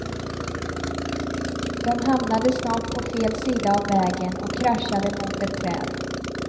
De hamnade snart på fel sida av vägen och kraschade mot ett träd.